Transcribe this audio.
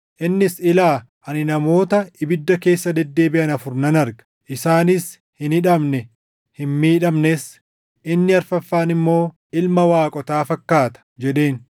Innis, “Ilaa! Ani namoota ibidda keessa deddeebiʼan afur nan arga; isaanis hin hidhamne; hin miidhamnes; inni afuraffaan immoo ilma waaqotaa fakkaata” jedheen.